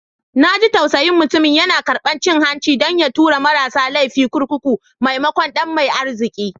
Na ji tausayin mutumin, yana karbar cin hanci don ya tura marasa laifi a kurkuku maimakon ɗan mai arziki.